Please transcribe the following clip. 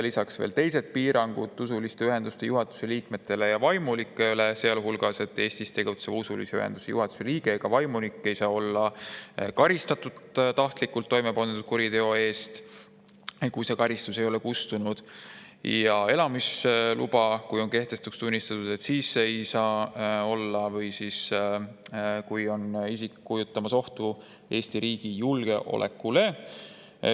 Lisaks on veel teised piirangud usuliste ühenduste juhatuse liikmetele ja vaimulikele, sealhulgas see, et Eestis tegutseva usulise ühenduse juhatuse liige ega vaimulik ei saa olla karistatud tahtlikult toime pandud kuriteo eest, kui see karistus ei ole kustunud, ja kui tema elamisluba on kehtetuks tunnistatud või kui on isik kujutab ohtu Eesti riigi julgeolekule.